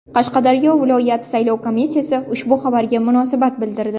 Qashqadaryo viloyat saylov komissiyasi ushbu xabarga munosabat bildirdi.